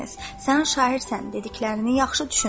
Sən şairsən, dediklərini yaxşı düşün.